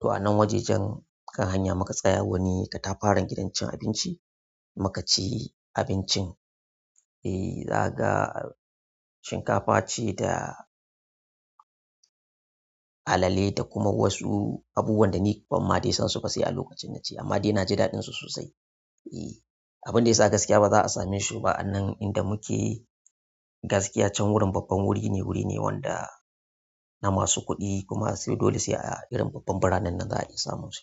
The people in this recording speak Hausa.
to a nan wajejen, kan hanya muka tsaya wani katafaren gidan cin abinci, muka ci abincin. E, na ga, shinkafa ce da. Alale da kuma wasu, abubuwan da ni ban ma dai san su ba sai a lokacin na ci, amma dai na ji daɗin su sosai. E, abin da ya sa gaskiya ba za a same shi ba anan inda muke. Gaskiya can wurin babban wuri ne, wuri ne wanda na masu kuɗi kuma sai dole sai a irin babban biranen nan za a iya samun su.